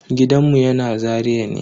Gidanmu yana Zaria ne.